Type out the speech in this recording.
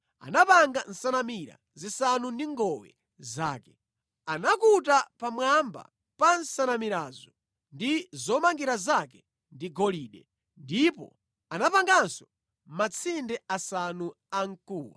Anapanga nsanamira zisanu ndi ngowe zake. Anakuta pamwamba pa nsanamirazo ndi zomangira zake ndi golide, ndipo anapanganso matsinde asanu amkuwa.